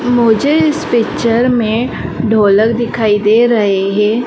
मुझे इस पिक्चर में ढोलक दिखाई दे रहे हैं।